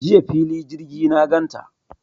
Jiya fili jirgi na gan ta.